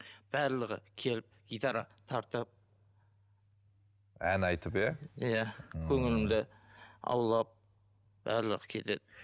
барлығы келіп гитара тартып ән айтып иә иә көңілімді аулап барлығы келеді